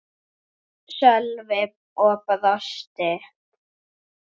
Sölvi og brosti.